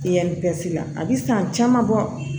la a bi san caman bɔ